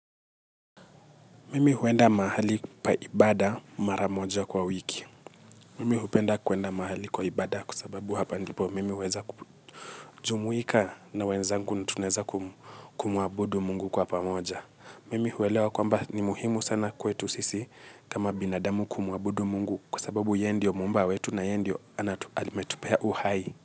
Mimi huenda mahali oa ibada maramoja kwa wiki. Mimi hupenda kuenda mahali kwa ibada kusababu hapa ndipo mimi huweza kujumuika na wenzangu na tuneza kumuabudu Mungu kwa pamoja. Mimi huwelewa kwamba ni muhimu sana kwetu sisi kama binadamu kumuabudu Mungu kwa sababu yeye ndio muumba wetu na yeye ndio ametupea uhai.